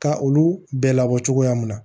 Ka olu bɛɛ labɔ cogoya mun na